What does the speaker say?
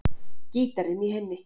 Gítarinn í hinni.